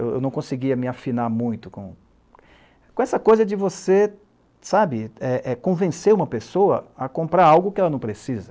Eu não conseguia me afinar muito com... Com essa coisa de você, sabe, é é convencer uma pessoa a comprar algo que ela não precisa.